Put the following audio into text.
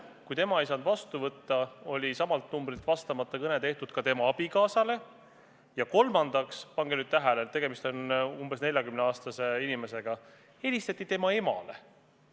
Kui tema ei saanud telefoni vastu võtta, oli samalt numbrilt tehtud vastamata kõne tema abikaasale, ja kolmandaks – pange nüüd tähele, tegemist on umbes 40-aastase inimesega – helistati tema emale.